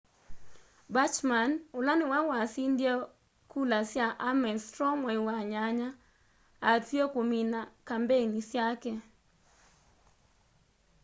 bachmann ũla nĩwe wasindie kula sya ames straw mwai wa nyanya atw'ie kũmina kambeni syake